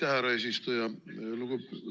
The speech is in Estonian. Aitäh, härra eesistuja!